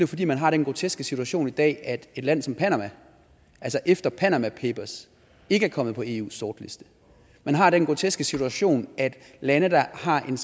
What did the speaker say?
fordi man har den groteske situation i dag at et land som panama altså efter panama papers ikke er kommet på eus sortliste man har den groteske situation at lande der har en